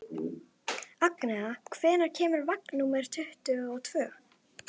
Agnea, hvenær kemur vagn númer tuttugu og tvö?